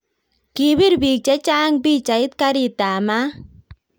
Kibir biik chechang pichait karit ab maat